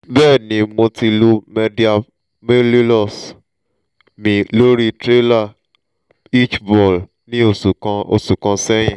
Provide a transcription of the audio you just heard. bẹẹni mo ti lu medial malleolus mi lori trailer hitch ball ni oṣu kan oṣu kan sẹyin